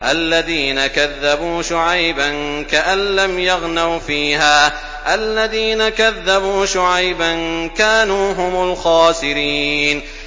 الَّذِينَ كَذَّبُوا شُعَيْبًا كَأَن لَّمْ يَغْنَوْا فِيهَا ۚ الَّذِينَ كَذَّبُوا شُعَيْبًا كَانُوا هُمُ الْخَاسِرِينَ